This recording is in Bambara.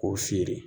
K'o feere